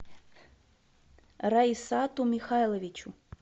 раисату михайловичу